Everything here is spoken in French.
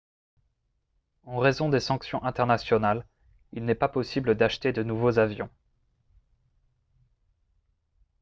en raison des sanctions internationales il n'est pas possible d'acheter de nouveaux avions